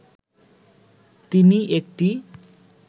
তিনি একটি